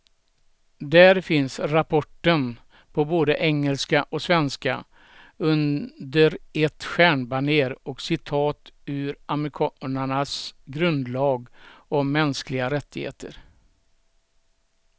Där finns rapporten på både engelska och svenska, under ett stjärnbanér och citat ur amerikanernas grundlag om mänskliga rättigheter.